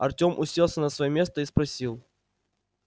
артём уселся на своё место и спросил